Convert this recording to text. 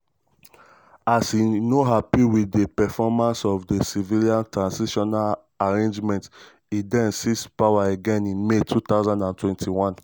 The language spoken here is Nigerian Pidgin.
as e no happy wit di performance of di civilian transitional arrangement e den seize power again in may 2021.